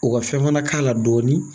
U ka fɛn fana k'a la dɔɔnin